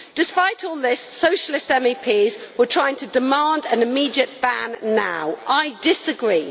Despite all this, Socialist MEPs were trying to demand an immediate ban now. I disagree.